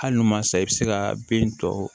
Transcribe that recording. Hali n'u ma san i bɛ se ka bin tɔ